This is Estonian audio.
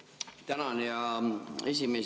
Tänan, hea esimees!